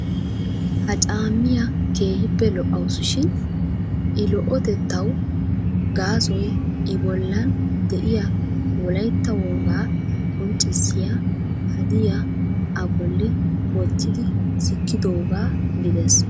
Hana caammiya keehippe lo"awusu shin I lo"otettaw gaasoy I bollan de'iyaa wolaytta wogaa qonccissiyaa hadiyaa a bolli wottidi sikkidooga gidees.